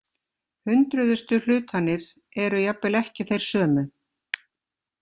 Hundruðustu hlutanir eru jafnvel ekki þeir sömu.